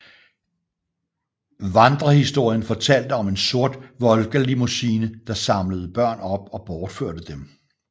Vandrehistorien fortalte om en sort Volga limousine der samlede børn op og bortførte dem